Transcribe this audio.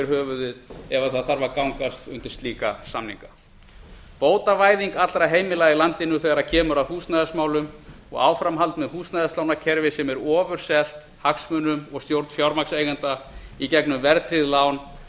höfuðið ef það þarf að gangast undir slíka samninga bótavæðing allra heimila í landinu þegar kemur að húsnæðismálum og áframhald með húsnæðislánakerfi sem er ofurselt hagsmunum og stjórn fjármagnseigenda í gegnum verðtryggð lán